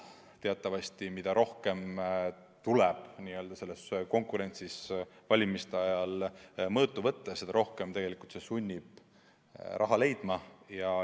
Teatavasti mida rohkem tuleb selles konkurentsis valimiste ajal mõõtu võtta, seda rohkem see sunnib raha leidma.